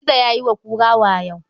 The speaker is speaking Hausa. Gizo ya yi wa kura wayo.